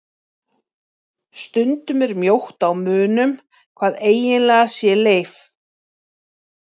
Stundum er mjótt á munum hvað eiginlega sé leif.